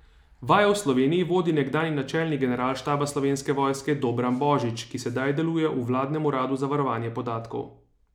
Vajo v Sloveniji vodi nekdanji načelnik generalštaba Slovenske vojske Dobran Božič, ki sedaj deluje v vladnem uradu za varovanje podatkov.